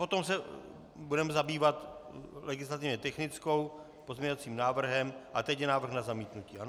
Potom se budeme zabývat legislativně technickou... pozměňovacím návrhem a teď je návrh na zamítnutí, ano?